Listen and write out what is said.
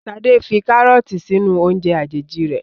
Sade fí karọọti sínú oúnje àjèjì rẹ